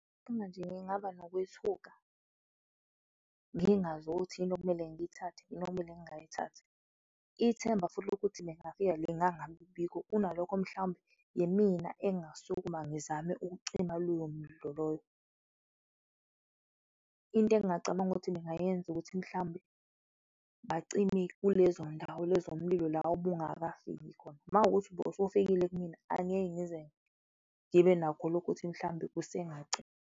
Uma nje ngingaba nokwethuka, ngingazi ukuthi yini okumele ngiyithathe noma yini engingayithathi, ithemba futhi lokuthi bengafika lingangabikho kunalokho, mhlawumbe yimina engingasukuma ngizame ukucima lowo mlilo loyo. Into egingacabanga ukuthi ngingayenza ukuthi mhlawumbe bacime kulezo ndawo lezo umlilo la obungakafiki khona, makuwukuthi bowusofikile kumina, angeke ngize ngibe nakho lokho ukuthi mhlawumbe kusengaci.